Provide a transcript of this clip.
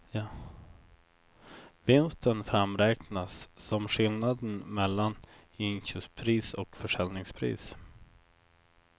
Vinsten framräknas som skillnaden mellan inköpspris och försäljningspris.